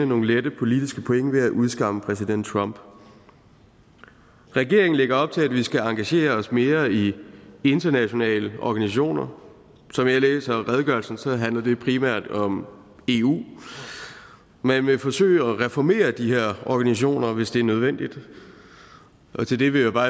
nogle lette politiske point ved at udskamme præsident trump regeringen lægger op til at vi skal engagere os mere i internationale organisationer som jeg læser redegørelsen handler det primært om eu man vil forsøge at reformere de her organisationer hvis det er nødvendigt til det vil jeg bare